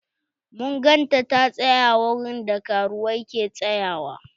Mun gan ta ta tsaƴa wurin da karuwai ke tsayawa.